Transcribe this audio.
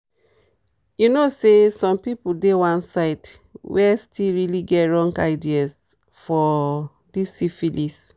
you know say some people dey one side where still really get wrong ideas for this syphilis